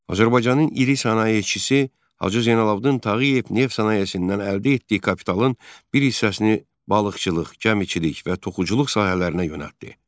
Azərbaycanın iri sənayeçisi Hacı Zeynalabdin Tağıyev neft sənayesindən əldə etdiyi kapitalın bir hissəsini balıqçılıq, gəmiçilik və toxuculuq sahələrinə yönəltdi.